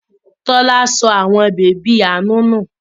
Tọ́lá sọ àwọn bèbí Aanu nù.